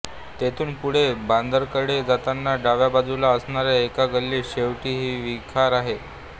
तेथून पुढे बंदराकडे जाताना डाव्या बाजूला असणाऱ्या एका गल्लीत शेवटी ही वखार आहे